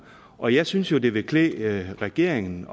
og jeg synes jo at det ville klæde regeringen